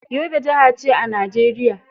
Yobe jiha ce a Najeriya.